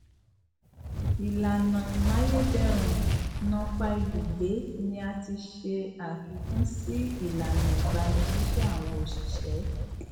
ilana imayederun napa ibugbe ni a tis e afikun si ilana igbanisise awon osise